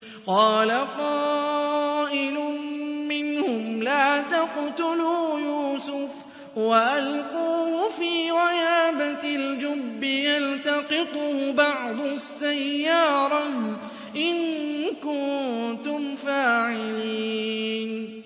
قَالَ قَائِلٌ مِّنْهُمْ لَا تَقْتُلُوا يُوسُفَ وَأَلْقُوهُ فِي غَيَابَتِ الْجُبِّ يَلْتَقِطْهُ بَعْضُ السَّيَّارَةِ إِن كُنتُمْ فَاعِلِينَ